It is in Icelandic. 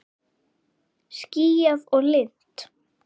Skýjað og lygnt.